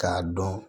K'a dɔn